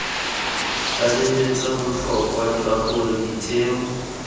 tlaleletsa botlhokwa jwa gore ditheo